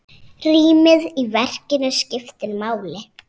Rýmið í verkinu skiptir máli.